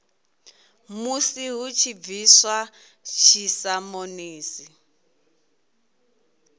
musi hu tshi bviswa dzisamonisi